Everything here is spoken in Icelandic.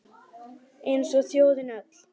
Eins og þjóðin öll